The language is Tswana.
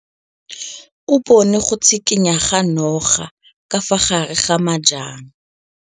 O bone go tshikinya ga noga ka fa gare ga majang.